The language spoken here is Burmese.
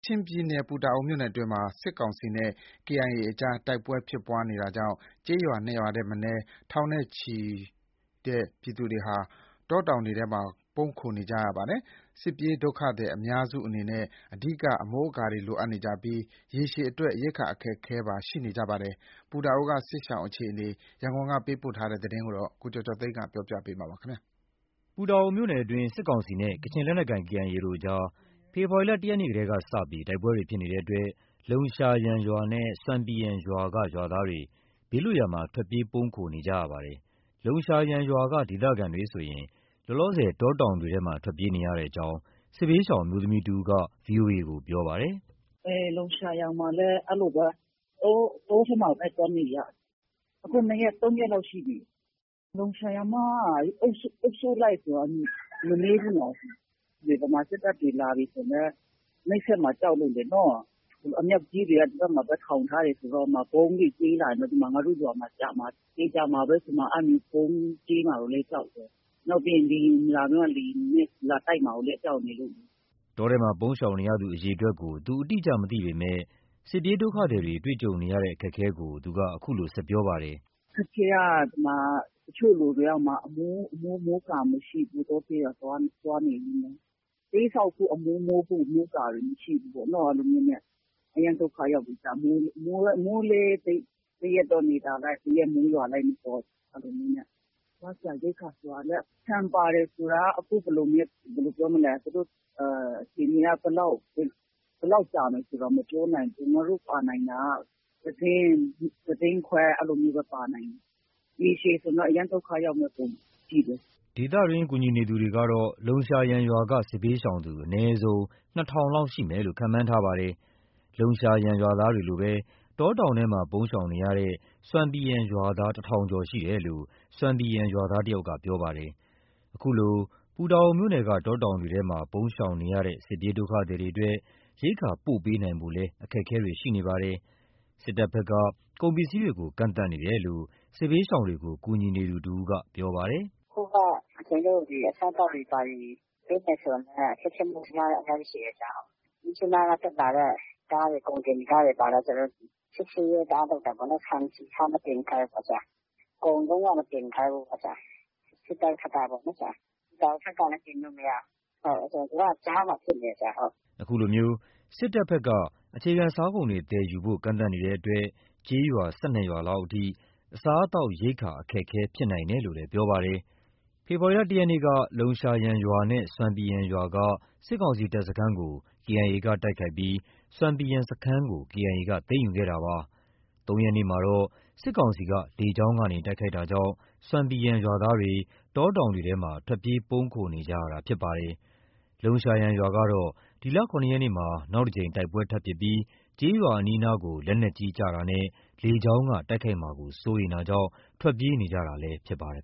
ချင်ပြည်နယ် ပူတာအိုမြို့နယ်အတွင်းမှာ စစ်ကောင်စီနဲ့ KIA အကြား တိုက်ပွဲဖြစ်ပွားနေတာကြောင့် ကျေးရွာ၂ ရွာထက်မနည်းက ထောင်နဲ့ချီတဲ့ ပြည်သူတွေဟာ တောတောင်တွေထဲမှာ ပုန်းခိုနေကြရပါတယ်။ စစ်ပြေးဒုက္ခသည်အများစုအနေနဲ့ အဓိက မိုးကာတွေလိုအပ်နေကြပြီး၊ ရေရှည်အတွက် ရိက္ခာအခက်အခဲပါ ရှိနေကြပါတယ်။ ပူတာအိုက စစ်ရှောင်တွေ အခြေအနေကို ရန်ကုန်ကသတင်းပေးပို့ထားတာကို ကိုကျော်ကျော်သိန်းက တင်ပြပေးထားပါတယ်။ ပူတာအိုမြို့နယ်အတွင်း စစ်ကောင်စီနဲ့ကချင်လက်နက်ကိုင် KIA တို့ကြား ဖေဖော်ဝါရီလ ၁ ရက်နေ့ကစပြီး တိုက်ပွဲတွေဖြစ်နေတဲ့အတွက် လုံရှာယန်ရွာနဲ့ ဆွမ်ပီယန်ရွာက ရွာသားတွေ ဘေးလွတ်ရာမှာ ထွက်ပြေးပုန်းခိုနေကြရပါတယ်။ လုံရှာယန်ရွာက ဒေသခံတွေဆိုရင် လောလောဆယ် တောတောင်တွေထဲမှာ ထွက်ပြေးနေရကြောင်း စစ်ဘေးရှောင် အမျိုးသမီးတဦးက VOA ကို ပြောပါတယ်။ “လုံရှာယန်မှာလည်း အဲလိုပဲ တောထဲမှာပဲ သွားနေရတာ။ ၂ ရက် ၃ ရက်လောက်ရှိပြီ။ လုံရှာယန်မှာက အုပ်စုလိုက်ဆိုတော့ မနည်းဘူးနော်။ ဗမာစစ်တပ်တွေလာပြီဆိုလည်း နှိပ်စက်မှာ ကြောက်လို့ လေနော။ အမြောက်ကြီးတွေက ဒီဘက်မှာ ထောင်ထားတော့ ဗုံးတွေကြဲလာတယ်ဆို ငါတို့ရွာမှာကျမှာ။ သေချာမှာပဲဆို။ အဲလို ဗုံးကြဲမှာကိုလည်း ကြောက်တယ်။ နောက်ပြီး လေယာဉ်လာပြီးမှ လေယာဉ်နဲ့လာတိုက်မှာလည်း ကြောက်နေလို့။” တောထဲမှာ ပုန်းရှောင်နေရသူ အရေအတွက်ကို သူ အတိအကျ မသိပေမဲ့ စစ်ပြေးဒုက္ခသည်တွေ တွေ့ကြုံနေရတဲ့ အခက်အခဲကို သူက အခုလို ဆက်ပြောပါတယ်။ “အခက်အခဲက တချို့လူတွေက ဟိုမှာ အမိုး မိုးကာမရှိဘူး။ တောထဲမှာ သွားနေပေမဲ့။ တဲဆောက်ဖို့ အမိုးမိုးဖို့ မိုးကာတွေ မရှိဘူးပေ့ါ။ အရမ်းဒုက္ခရောက်တယ်။ မိုးလည်း တရက်တော့ နေသာလိုက်၊ တရက်တော့ မိုးရွာလိုက်နဲ့။ အဲလိုမျိုးနဲ့။ စားစရာရိက္ခာဆိုတာက ဆန်ပါတယ် ဆိုတာက အခြေအနေက ဘယ်လောက် ကြာမယ်ဆိုတာ မပြောနိုင်ဘူး။ ငါတို့ ပါနိုင်တာက တတင်း။ တတင်းခွဲ အဲလိုမျိုးပဲ ပါနိုင်တာ။ ရေရှည်ဆိုရင်တော့ အရမ်းဒုက္ခရောက်မယ့် ပုံပဲ။” ဒေသတွင်း ကူညီသူတွေကတော့ လုံရှာယန်ရွာက စစ်ဘေးရှောင်သူ အနည်းဆုံး ၂,၀၀၀ လောက်ရှိမယ်လို့ ခန့်မှန်းထားပါတယ်။ လုံရှာယန်ရွာသားတွေလိုပဲ တောတောင်ထဲမှာ ပုန်းရှောင်နေရတဲ့ ဆွမ်ပီယန်ရွာသား ၁,၀၀၀ ကျော်ရှိတယ်လို့ ဆွမ်ပီယန်ရွာသားတယောက်က ပြောပြပါတယ်။ ခုလို ပူတာအိုမြို့နယ်က တောတောင်တွေထဲမှာ ပုန်းရှောင်နေရတဲ့ စစ်ပြေးဒုက္ခသည်တွေအတွက် ရိက္ခာပို့ပေးနိုင်ဖို့လည်း အခက်အခဲတွေ ရှိနေပါတယ်။ စစ်တပ်ဘက်က ကုန်ပစ္စည်းတွေကို ကန့်သတ်နေတယ်လို့ စစ်ဘေးရှောင်တွေကို ကူညီနေသူတဦးက အခုလို ပြောပါတယ်။ “အခုက ကျနော်တို့ အစားအသောက်တွေ ပေးမယ်ဆိုလည်း အခက်အခဲအများကြီးရှိတယ်။ မြစ်ကြီးနားက တက်လာတဲ့ ကားတွေ၊ ကုန်တင်ကားတွေလည်း ကျနော်တို့ စစ်ဆေးရေးတအားလုပ်တာပေါ့နော်။ ဆန်၊ ဆီ၊ ဆား မတင်ခိုင်းဘူးပေါ့။ ကုန်လုံးဝ မတင်ခိုင်ဘူးပေါ့။ စစ်တပ်ဘက်က ပေါ့နော်။ ပူတာအိုဘက်ကလည်း တင်လို့ မရဘူး။ သူက ကြားမှာ ဖြစ်နေတယ်။” ဒီလိုစစ်တပ်ဘက်က အခြေခံစားကုန်တွေ သယ်ယူဖို့ ကန့်သတ်နေတဲ့အတွက် ကျေးရွာ ၁၂ ရွာလောက်အထိ အစားအသောက် ရိက္ခာအခက်အခဲ ဖြစ်နိုင်တယ်လို့လည်း ပြောပါတယ်။ ဖေဖော်ဝါရီလ ၁ ရက်နေ့က လုံရှာယန်ရွာနဲ့ ဆွမ်ပီယန်ရွာက စစ်ကောင်စီတပ်စခန်းကို KIA က တိုက်ခိုက်ပြီး ဆွမ်ပီယန် စခန်းကို KIA က သိမ်းယူခဲ့တာပါ။ ၃ ရက်နေ့မှာတော့ စစ်ကောင်စီက လေကြောင်းကနေ တိုက်ခိုက်ခဲ့တာကြောင့် ဆွမ်ပီယန်ရွာသားတွေ တောတောင်တွေထဲကို ထွက်ပြေးပုန်းခိုနေကြရတာ ဖြစ်ပါတယ်။ လုံရှာယန်ရွာကတော့ ဒီလ ၇ ရက်နေ့မှာ နောက်တစ်ကြိမ်တိုက်ပွဲထပ်မံဖြစ်ခဲ့ပြီး ကျေးရွာအနီးအနားကို လက်နက်ကြီး ကျရောက်တာနဲ့ လေကြောင်းက တိုက်ခိုက်မှာကို စိုးရိမ်တာကြောင့် ထွက်ပြေးနေကြတာလည်း ဖြစ်ပါတယ်